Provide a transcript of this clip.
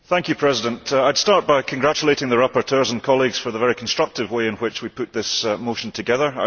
Mr President, I will start by congratulating the rapporteurs and colleagues for the very constructive way in which we put this motion together.